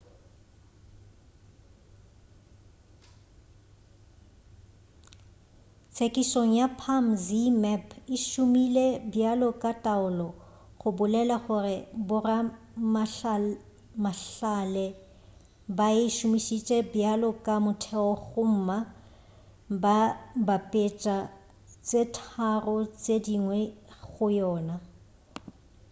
tsekišong ya palm zmapp e šomile bjalo ka taolo go bolela gore boramahlale ba e šomišitše bjalo ka motheo gomma ba bapetša tše tharo tše dingwe go yona